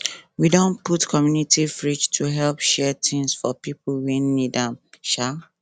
we don put community fridge to help share things for pipo wey need am um